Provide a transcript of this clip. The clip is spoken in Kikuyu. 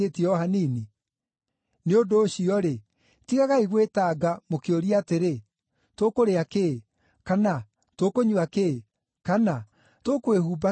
Nĩ ũndũ ũcio-rĩ, tigagai gwĩtanga, mũkĩũria atĩrĩ: ‘Tũkũrĩa kĩĩ?’ kana ‘Tũkũnyua kĩĩ?’ kana ‘Tũkwĩhumba kĩĩ?’